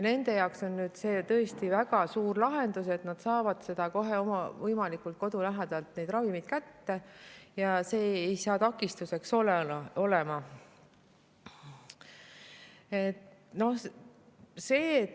Nende jaoks on see tõesti väga suur lahendus, et nad saavad võimalikult kodu lähedalt neid ravimeid kätte, seda takistust enam ei ole.